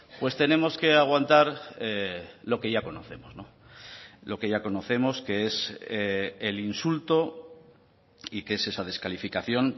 pues tenemos que aguantar lo que ya conocemos lo que ya conocemos que es el insulto y que es esa descalificación